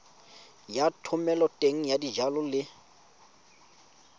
ya thomeloteng ya dijalo le